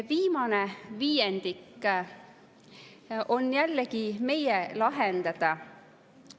Viimane viiendik on jällegi meie lahendada.